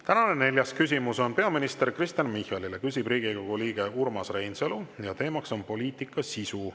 Tänane neljas küsimus on peaminister Kristen Michalile, küsib Riigikogu liige Urmas Reinsalu ja teema on poliitika sisu.